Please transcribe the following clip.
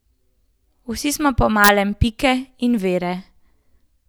Vsi smo po malem Pike in Vere.